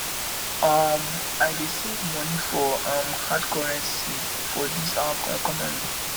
um i dey save moni for um hard currency for dis our economy